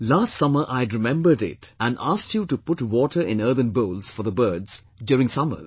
Last summer I had remembered it and asked you to put water in earthen bowls for the birds during summers